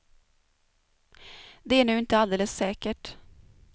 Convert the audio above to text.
Det är nu inte alldeles säkert.